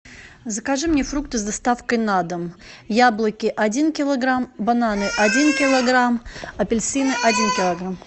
закажи мне фрукты с доставкой на дом яблоки один килограмм бананы один килограмм апельсины один килограмм